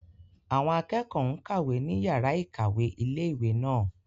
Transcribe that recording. Àwọn akẹ́kọ̀ọ́ n kàwé ní yàrá-ìkàwé ilé-ìwé náà